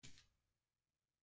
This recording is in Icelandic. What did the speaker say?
Honum yrði að rifta.